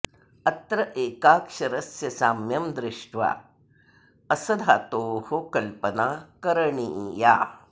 अत्र एकाक्षरस्य साम्यं दृष्ट्वा अस् धातोः कल्पना करणीया